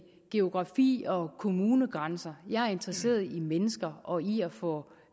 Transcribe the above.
geografi og kommunegrænser jeg er interesseret i mennesker og i at få